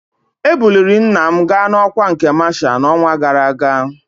Ebuliri nna m ga n'ọkwa nke masha n'ọnwa gara aga